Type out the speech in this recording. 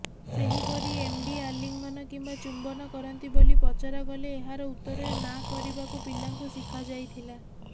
ସେହିପରି ଏମଡି ଆଲ୍ଲିଂଘନ କିମ୍ବା ଚୁମ୍ବନ କରନ୍ତି ବୋଲି ପଚରାଗଲେ ଏହାର ଉତ୍ତରରେ ନାଁ କରିବାକୁ ପିଲାଙ୍କୁ ଶିଖାଯାଇଥିଲା